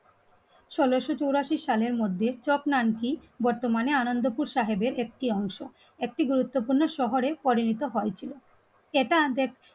উনিশশো চুরাশি সালের মধ্যেই চক্রান্ত আন্টি বর্তমানে আনন্দপুর সাহেবের একটি অংশ একটি গুরুত্বপূর্ণ শহরে পরিণত হয়েছিল. এটা দেখে